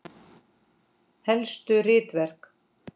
Helstu ritverk